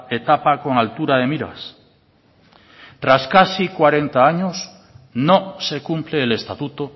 etapa con altura de miras tras casi cuarenta años no se cumple el estatuto